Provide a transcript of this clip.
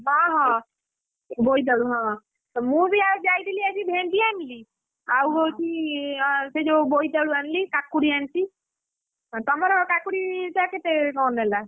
ହଁହଁ ବୋଇତାଳୁ ହଁ ମୁଁ ବି ଯାଇଥିଲି ଆଜି ଭେଣ୍ଡି ଆଣିଲି, ଆଉ ହଉଛି ସେ ଯୋଉ ବୋଇତାଳୁ ଆଣିଲି କାକୁଡି ଆଣିଛି, ତମର କାକୁଡିଟା କେତେ କଣ ନେଲା?